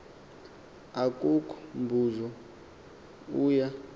akukho mbuzo uya